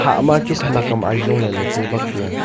hahma khenak am ajong le tai bak tai a.